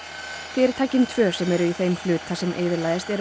fyrirtækin tvö sem eru í þeim hluta sem eyðilagðist eru